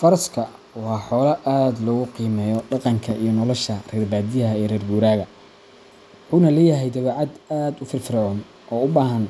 Faraska waa xoolo aad loogu qiimeeyo dhaqanka iyo nolosha reer badiyaha iyo reer guuraaga, wuxuuna leeyahay dabeecad aad u firfircoon oo u baahan